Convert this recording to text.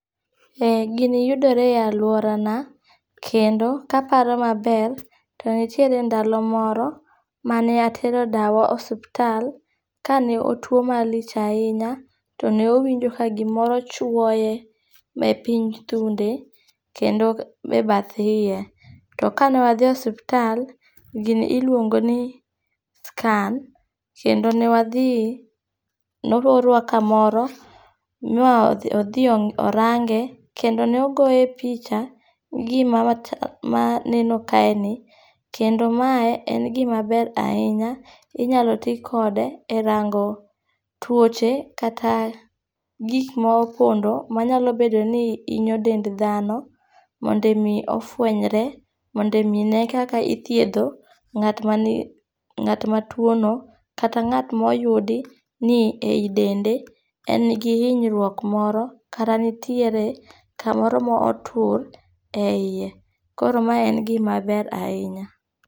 Ee gini yudore e aluora na. Kendo kaparo maber to nitiere ndalo moro mane atero dawa e osuptal ka ne otuo malich ahinya te ne owinjo ka gimoro chwoye e piny thunde kendo me bath iye. To kane wadhi e osuptal, gini iluongo ni scan. Kendo ne wadhi ne orwa kamaro ma odhi orange kendo ne ogoye picha gi gima neno kae ni. Kendo mae en gima ber ahinya. Inyalo ti kode e rango tuoche kata gik mopondo manyalo bedo ni hinyo dend dhano mondo mi ofwenyre mondo mi ne kaka ithiedho ng'at matuo no kata ng'at moyudi ni eyi dende en gi hinyruok moro kata nitiere kamoro mo otur e yie. Koro ma en gima ber ahinya.